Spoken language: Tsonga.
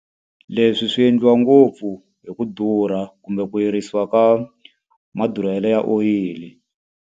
Leswi swi endliwa ngopfu hi ku durha kumbe ku yirisiwa ka madurhelo ya oyili.